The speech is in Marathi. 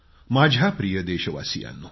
माझ्या प्रिय देशवासियांनो